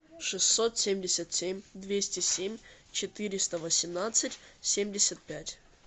шестьсот семьдесят семь двести семь четыреста восемнадцать семьдесят пять